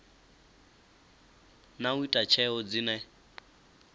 na u ita tsheo dzine